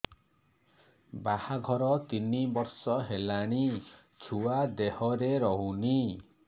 ବାହାଘର ତିନି ବର୍ଷ ହେଲାଣି ଛୁଆ ଦେହରେ ରହୁନି